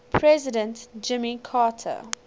president jimmy carter